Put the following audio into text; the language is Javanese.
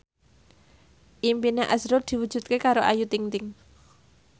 impine azrul diwujudke karo Ayu Ting ting